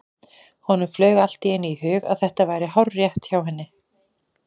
Honum flaug allt í einu í hug að þetta væri hárrétt hjá henni.